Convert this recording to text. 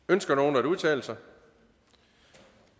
ønsker nogen at udtale sig